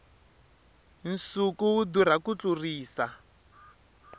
nsuku wu durha ku tlurisa